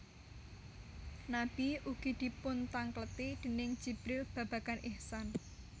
Nabi ugi dipuntangkleti déning Jibril babagan ihsan